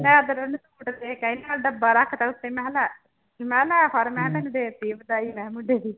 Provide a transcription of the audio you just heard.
ਮੈਂ ਫਿਰ ਉਹਨੂੰ ਸੂਟ ਦੇ ਕੇ ਆਈ ਨਾਲ ਡੱਬਾ ਰੱਖ ਦਿੱਤਾ ਉੱਤੇ ਮੈਂ ਕਿਹਾ ਲੈ, ਮੈਂ ਕਿਹਾ ਲੈ ਫੜ ਮੈਂ ਤੈਨੂੰ ਦੇ ਦਿੱਤੀ ਹੈ ਵਧਾਈ ਮੈਂ ਕਿਹਾ ਮੁੰਡੇ ਦੀ।